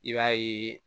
I b'a ye